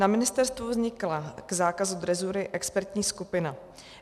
Na ministerstvu vznikla k zákazu drezury expertní skupina.